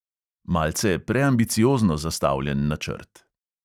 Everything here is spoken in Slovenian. Malce preambiciozno zastavljen načrt.